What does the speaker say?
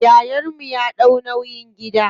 Yayan mu ya ɗau nauyin gida.